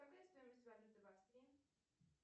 какая стоимость валюты в австрии